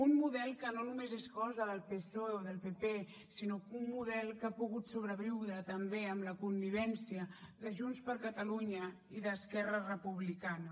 un model que no només és cosa del psoe o del pp sinó un model que ha pogut sobreviure també amb la connivència de junts per catalunya i d’esquerra republicana